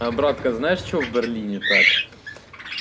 а братка знаешь что в берлине так